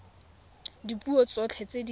ka dipuo tsotlhe tse di